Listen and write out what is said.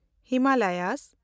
Himalaya